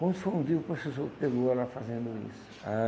Quando foi um dia, o professor pegou ela fazendo isso.